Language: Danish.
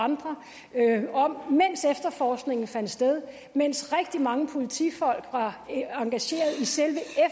andre om mens efterforskningen fandt sted mens rigtig mange politifolk var engageret i selve